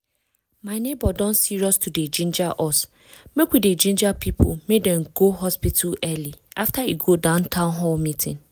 my neighbor don serious to dey ginger us make we dey ginger people make dem go hospital early after e go dat town hall meeting.